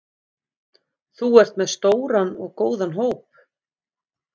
Þú ert með stóran og góðan hóp?